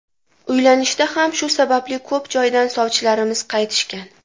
Uylanishda ham shu sababli ko‘p joydan sovchilarimiz qaytishgan.